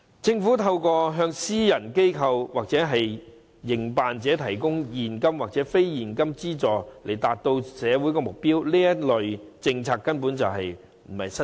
政府可向私人機構或營辦者提供現金或非現金資助，從而達至社會目標，這類政策並非新事。